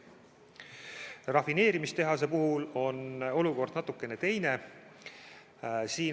Rafineerimistehase puhul on olukord natukene teine.